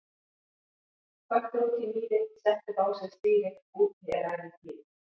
Köttur úti í mýri, setti upp á sig stýri, úti er ævintýri!